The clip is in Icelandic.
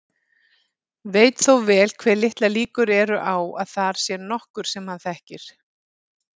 Veit þó vel hve litlar líkur eru á að þar sé nokkur sem hann þekkir.